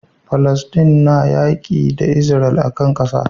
Falastin na yaƙi da isra'ila akan ƙasa